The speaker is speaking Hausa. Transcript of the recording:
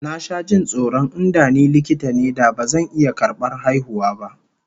Na sha jin tsoron in da ni likita ne da bazan iya karbar haihuwa ba